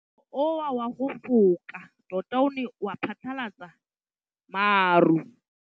Mowa o wa go foka tota o ne wa phatlalatsa maru.